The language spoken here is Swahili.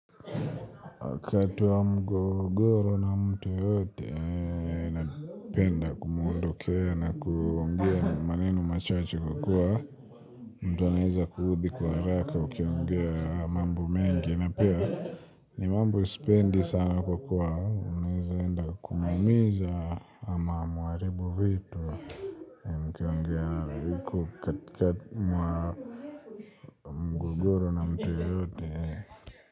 Wakati wa mgogoro na mtu yoyote napenda kumundokea na kuongea maneno machache kwakua mtu anaeza kuuthi kwa haraka ukiongea mambo mengi na pia ni mambo sipendi sana kwa kuwa unaeza enda kumuumiza ama muharibu vitu mkiongea katika mwa mgogoro na mtu yoyote.